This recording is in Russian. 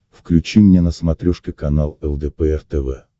включи мне на смотрешке канал лдпр тв